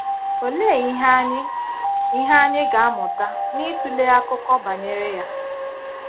Òlee ìhè anyị ìhè anyị ga - amụ̀tà n’ịtụlé akụkọ banyere ya?